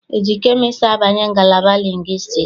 E ji kemịstrị abanye ngalaba lingwistiks?